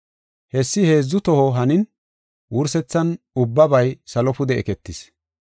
“Hessi heedzu toho hanin, wursethan ubbabay salo pude eketis.